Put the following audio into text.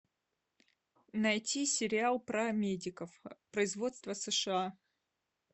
найти сериал про медиков производство сша